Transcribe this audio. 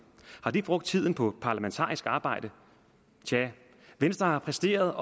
har det brugt tiden på parlamentarisk arbejde tja venstre har præsteret